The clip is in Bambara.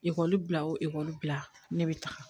Ekɔli bila o bila ne bɛ taga